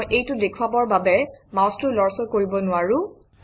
মই এইটো দেখুৱাবৰ বাবে মাউচটো লৰচৰ কৰিব নোৱাৰোঁ